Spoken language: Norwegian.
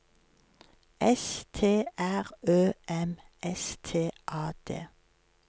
S T R Ø M S T A D